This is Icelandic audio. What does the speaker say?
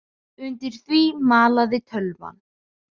Undir því malaði tölvan.